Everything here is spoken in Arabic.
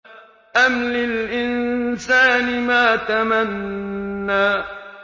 أَمْ لِلْإِنسَانِ مَا تَمَنَّىٰ